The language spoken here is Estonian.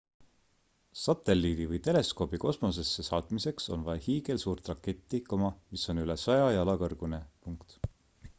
satelliidi või teleskoobi kosmosesse saatmiseks on vaja hiigelsuurt raketti mis on üle 100 jala kõrgune